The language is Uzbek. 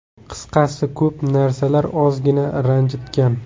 Qisqasi ko‘p narsalar ozgina ranjitgan.